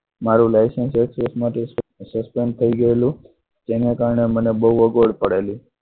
મારું licence suspend થઈ ગયેલું તેને કારણે મને બહુ અગવડ પડેલી.